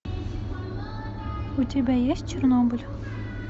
у тебя есть чернобыль